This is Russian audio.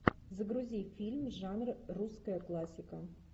загрузи фильм жанр русская классика